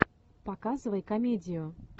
показывай комедию